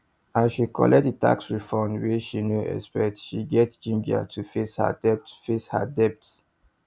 as she collect the tax refund wey she no expect she get ginger to face her debt face her debt